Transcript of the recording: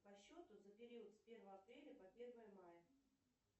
по счету за период с первого апреля по первое мая